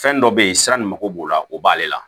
Fɛn dɔ be ye sira nin mago b'o la o b'ale la